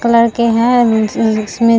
colour के है उन उन जिसमें --